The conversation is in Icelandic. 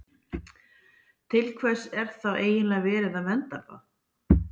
Til hvers er þá eiginlega verið að vernda það?